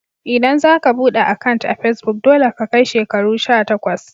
ldan za ka bude akant a'pesbuk, dolle ka kai shekaru sha takwas.